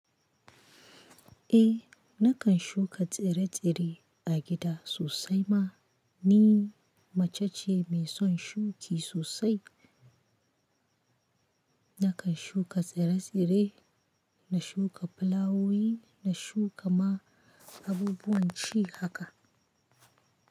Eh, nakan shuka tsire-tsire a gida sosai ma. Ni mace ce mai son shuki sosai. Nakan shuka tsire-tsire, na shuka fulawowi, na shuka ma abubuwan ci haka.